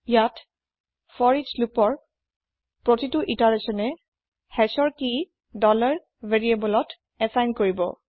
ইয়াতে ফৰিচ loopৰ ইতাৰেচ্যনে hashৰ কি variableত এচাইন কৰিব